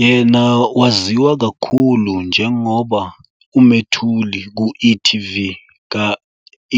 Yena waziwa kakhulu njengoba umethuli ku e.tv ka-